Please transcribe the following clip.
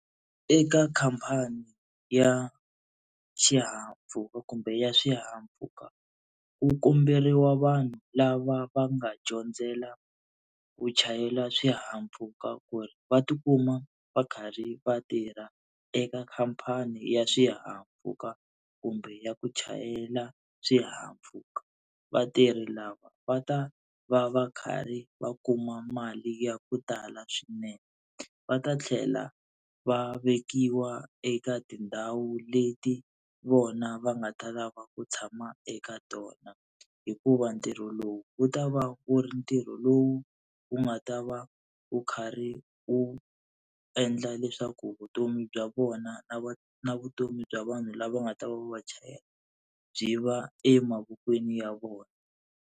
Eka khampani ya xihahampfhuka kumbe ya swihahampfhuka ku komberiwa vanhu lava va nga dyondzela ku chayela swihahampfhuka ku ri va tikuma va karhi va tirha eka khampani ya swihahampfhuka kumbe ya ku chayela swihahampfhuka. Vatirhi lava va ta va va karhi va kuma mali ya ku tala swinene va ta tlhela va vekiwa eka tindhawu leti vona va nga ta lava ku tshama eka tona, hikuva ntirho lowu wu ta va wu ri ntirho lowu wu nga ta va wu karhi wu endla leswaku vutomi bya vona na vutomi bya vanhu lava nga ta va va va chayela byi va emavokweni ya vona.